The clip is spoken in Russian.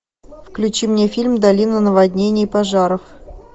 включи мне фильм долина наводнений и пожаров